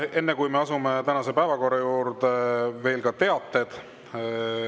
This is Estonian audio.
Enne, kui me asume tänase päevakorra juurde, on teade.